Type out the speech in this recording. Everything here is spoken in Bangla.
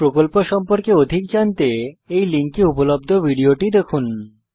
এই প্রকল্প সম্পর্কে অধিক জানতে এই লিঙ্কে উপলব্ধ ভিডিওটি দেখুন